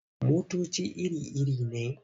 Motoci iri-iri ne.